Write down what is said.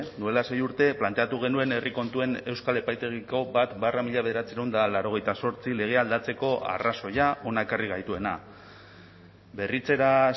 duela sei urte planteatu genuen herri kontuen euskal epaitegiko bat barra mila bederatziehun eta laurogeita zortzi legea aldatzeko arrazoia hona ekarri gaituena berritzera